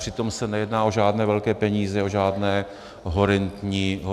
Přitom se nejedná o žádné velké peníze, o žádné horentní sumy.